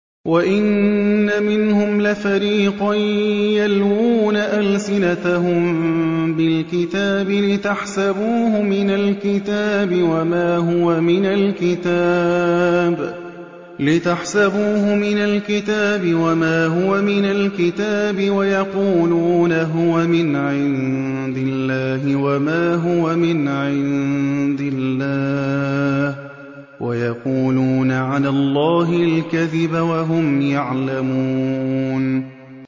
وَإِنَّ مِنْهُمْ لَفَرِيقًا يَلْوُونَ أَلْسِنَتَهُم بِالْكِتَابِ لِتَحْسَبُوهُ مِنَ الْكِتَابِ وَمَا هُوَ مِنَ الْكِتَابِ وَيَقُولُونَ هُوَ مِنْ عِندِ اللَّهِ وَمَا هُوَ مِنْ عِندِ اللَّهِ وَيَقُولُونَ عَلَى اللَّهِ الْكَذِبَ وَهُمْ يَعْلَمُونَ